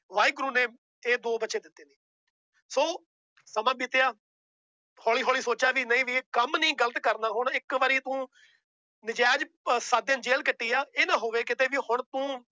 ਵਾਹਿਗੁਰੂ ਨੇ ਇਹ ਦੋ ਬੱਚੇ ਦਿੱਤੇ ਨੇ ਸੋ ਸਮਾਂ ਬੀਤਿਆ ਹੌਲੀ ਹੌਲੀ ਸੋਚਿਆ ਵੀ ਨਹੀਂ ਵੀ ਕੰਮ ਨੀ ਗ਼ਲਤ ਕਰਨਾ ਹੁਣ ਇੱਕ ਵਾਰੀ ਤੂੰ ਨਜਾਇਜ਼ ਅਹ ਸੱਤ ਦਿਨ ਜੇਲ ਕੱਟੀ ਆ ਇਹ ਨਾ ਹੋਵੇ ਕਿਤੇ ਵੀ ਹੁਣ ਤੂੰ